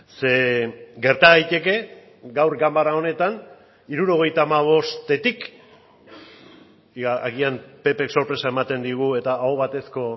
ze gerta daiteke gaur ganbara honetan hirurogeita hamabostetik agian ppk sorpresa ematen digu eta aho batezko